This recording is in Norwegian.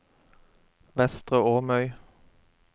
Vestre Åmøy